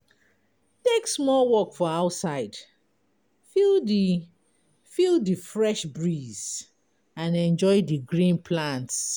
Take small walk for outside, feel the feel the fresh breeze and enjoy the green plants.